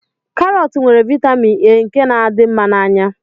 Karọt nwere vaịtamin A nke na-adị mma n'anya